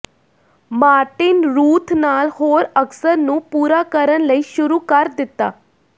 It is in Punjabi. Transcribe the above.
ਮਾਰਟਿਨ ਰੂਥ ਨਾਲ ਹੋਰ ਅਕਸਰ ਨੂੰ ਪੂਰਾ ਕਰਨ ਲਈ ਸ਼ੁਰੂ ਕਰ ਦਿੱਤਾ